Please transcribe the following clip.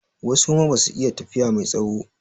Wasu kuma basu iya tafiya mai tsawo